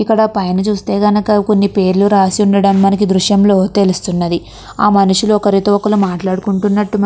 ఇక్కడ పైన చూస్తే గనక కొన్నిపేర్లు రాసి ఉండటం మనకి ఈ దృశ్యం లో తెలుస్తుంది ఆ మనుషులు ఒకరితో ఒకరు మాట్లాడుకుంటునటు మన --